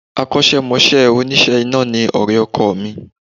Akọ́sẹ́mọsẹ́ òníṣe iná ni ọ̀rẹ́ ọkọ mi